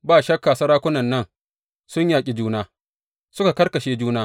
Ba shakka sarakunan nan sun yaƙe juna, suka karkashe juna.